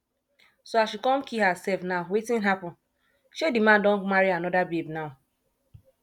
so as she come kee herself now wetin happen shey di man don marry another babe now